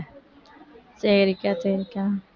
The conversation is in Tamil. சரிக்கா சரிக்கா